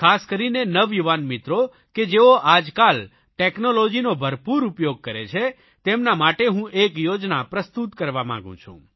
ખાસ કરીને નવયુવાન મિત્રો કે જેઓ આજકાલ ટેકનોલોજીનો ભરપૂર ઉપયોગ કરે છે તેમના માટે હું એક યોજના પ્રસ્તુત કરવા માંગુ છું